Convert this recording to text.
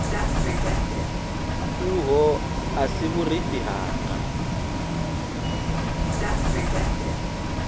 uho a si vhurifhi hanga